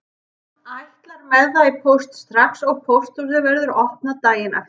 Hann ætlar með það í póst strax og pósthúsið verður opnað daginn eftir.